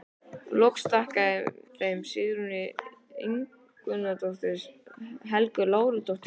Loks þakka ég þeim Sigþrúði Ingimundardóttur, Helgu Láru Helgadóttur